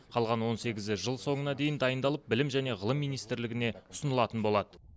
қалған он сегізі жыл соңына дейін дайындалып білім және ғылым министрлігіне ұсынылатын болады